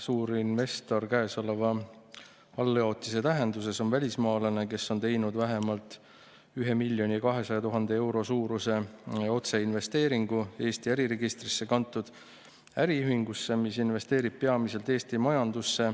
"Suurinvestor käesoleva alljaotise tähenduses on välismaalane, kes on teinud vähemalt 1 200 000 euro suuruse otseinvesteeringu Eesti äriregistrisse kantud äriühingusse, mis investeerib peamiselt Eesti majandusse,